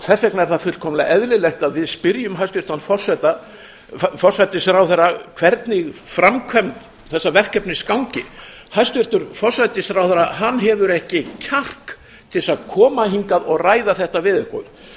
þess vegna er það fullkomlega eðlilegt að við spyrjum hæstvirtan forsætisráðherra hvernig framkvæmd þessa verkefnis gangi hæstvirtur forsætisráðherra hefur ekki kjark til að koma hingað og ræða þetta við okkur ég